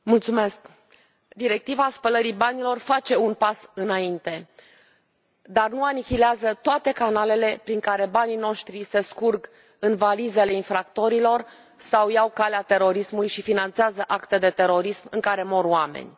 Domnule Președinte, directiva spălării banilor face un pas înainte, dar nu anihilează toate canalele prin care banii noștri se scurg în valizele infractorilor sau iau calea terorismului și finanțează acte de terorism în care mor oameni.